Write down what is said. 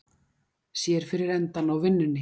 Sér fyrir endann á vinnunni